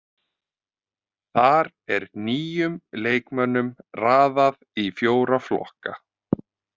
Þar er nýjum leikmönnum raðað í fjóra flokka.